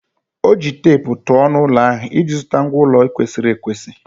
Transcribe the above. O ji teepu tụọ ọnụ ụlọ ahụ iji zụta ngwá ụlọ kwesịrị ekwesị.